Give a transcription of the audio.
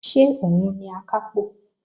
Ṣé òun ni Akápò?